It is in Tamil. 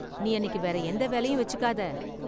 நீ அன்னிக்கு வேற எந்த வேலையும் வெச்சுக்காதே.